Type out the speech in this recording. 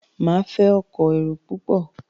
Máa fẹ́ kó èrò púpọ̀.